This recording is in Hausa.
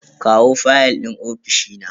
kawo fayal din ofishi na.